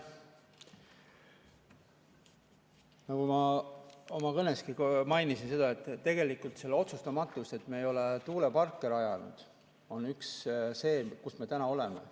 Nagu ma oma kõneski mainisin, tegelikult otsustamatus, et me ei ole tuuleparke rajanud, on üks põhjus sellele, kus me täna oleme.